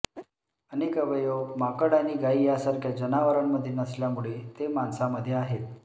अनेक अवयव माकड आणि गायी यासारख्या जनावरांमध्ये नसल्यामुळे ते माणसामध्ये आहेत